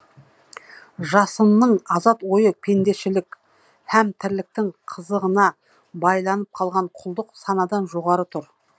жасынның азат ойы пендешілік һәм тірліктің қызығына байланып қалған құлдық санадан жоғары тұр